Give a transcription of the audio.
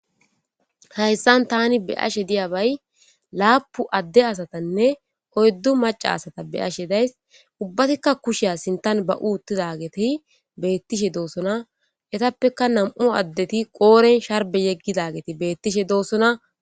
Hayssan tani be'ashe diya bay laapu adde asatanne oyddu maca asata be'ashe days ubbatikka kusheyassintan ba'uuttidageti beettishe doosona etappeka nam'u addeti qooren sharbe yeggidageti beettishe doosona.